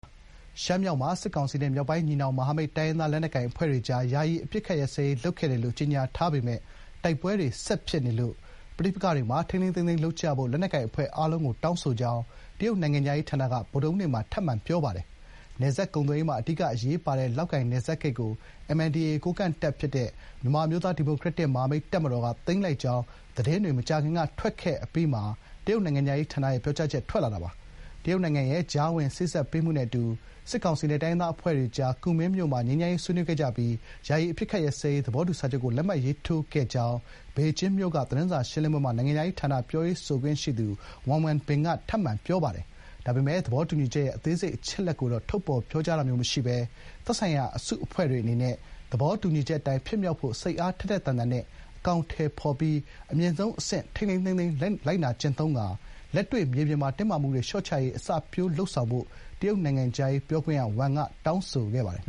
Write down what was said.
ရှမ်းမြောက်မှာ စစ်ကောင်စီနဲ့ မြောက်ပိုင်းညီနောင် မဟာမိတ် တိုင်းရင်းသားလက်နက်ကိုင်အဖွဲ့တွေကြား ယာယီ အပစ်အခတ် ရပ်စဲရေးလုပ်ခဲ့တယ်လို့ ကြေညာထားပေမယ့် တိုက်ပွဲတွေ ဆက်ဖြစ်နေလို့ ပဋိပက္ခတွေမှာ ထိန်းထိန်းသိမ်းသိမ်းလုပ်ကြဖို့ လက်နက်ကိုင်အဖွဲ့အားလုံကိုတောင်းဆိုကြောင်း တရုတ်နိုင်ငံခြားရေးဌာနက ဗုဒ္ဓဟူးနေ့မှာ ထပ်မံ ပြောပါတယ်။ နယ်စပ်ကုန်သွယ်ရေးမှာ အဓိကအရေးပါတဲ့ လောက်ကိုင်နယ်စပ်ဂိတ်ကို MNDAA ကိုးကန့်တပ်ဖြစ်တဲ့ မြန်မာအမျိုးသား ဒီမိုကရက်တစ် မဟာမိတ်တပ်မတော်ကသိမ်းလိုက်ကြောင်း သတင်းတွေ မကြာခင်ကထွက်ခဲ့အပြီးမှာ တရုတ်နိုင်ငံခြားရေးရဲ့ပြောကြားချက် ထွက်လာတာပါ။ တရုတ်နိုင်ငံရဲ့ ကြားဝင်စေ့စပ်ပေးမှုနဲ့အတူ စစ်ကောင်စီနဲ့ တိုင်းရင်းသားအဖွဲ့တွေကြား ကူမင်းမြို့မှာ ငြိမ်းချမ်းရေး ဆွေးနွေးခဲ့ကြပြီး ယာယီအပစ်အခတ်ရပ်စဲရေး သဘောတူစာချုပ်ကို လက်မှတ်ရေးထိုးခဲ့ကြောင်း ဘေဂျင်းမြို့က သတင်းစာရှင်းလင်းပွဲမှာ နိုင်ငံခြားရေးဌာန ပြောရေးဆိုခွင့်ရှိသူ Wang Wenbin က ထပ်မံ ပြောပါတယ်။ ဒါပေမယ့် သဘောတူညီချက်ရဲ့ အသေးစိတ်အချက်အလက်တွေကိုတော့ ထုတ်ဖော်ပြောကြားခြင်းမရှိဘဲ သက်ဆိုင်ရာ အစုအဖွဲ့တွေအနေနဲ့ "သဘောတူညီချက်အတိုင်း ဖြစ်မြောက်ဖို့ စိတ်အားထက်ထက်သန်သန်နဲ့ အကောင်အထည်ဖော်ပြီး အမြင့်ဆုံးအဆင့်နဲ့ ထိန်းထိန်းသိမ်းသိမ်း လိုက်နာကျင့်သုံးရင်း လက်တွေ့ မြေပြင်မှာ တင်းမာမှုတွေ လျှော့ချရေး အစပျိုးလုပ်ဆောင်ဖို့" တရုတ်နိုင်ငံခြားရေးပြောခွင့်ရ Wang က တောင်းဆိုခဲ့ပါတယ်